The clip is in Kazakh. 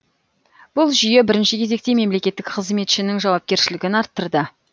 бұл жүйе бірінші кезекте мемлекеттік қызметшінің жауапкершілігін арттырды